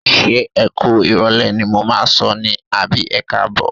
Ṣé ẹ kú ìrọ̀lẹ́ ni mo máa sọ ní àbí ẹkáàbọ̀?